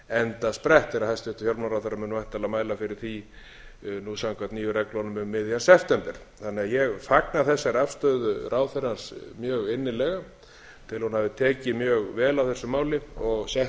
fjármálaráðherra mun væntanlega mæla fyrir því nú samkvæmt nýju reglunum um miðjan september þannig að ég fagna þessari afstöðu ráðherrans mjög innilega tel hún hafi tekið mjög vel á þessu máli og